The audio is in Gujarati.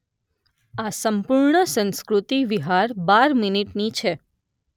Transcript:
આ સંપૂર્ણ સંસ્કૃતિ વિહાર બાર મિનીટની છે.